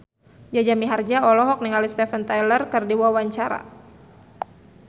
Jaja Mihardja olohok ningali Steven Tyler keur diwawancara